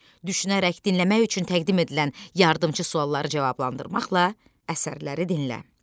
Düşünərək dinləmək üçün təqdim edilən yardımçı sualları cavablandırmaqla əsərləri dinlə.